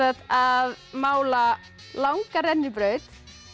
að að mála langa rennibraut